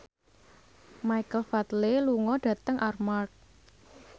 Michael Flatley lunga dhateng Armargh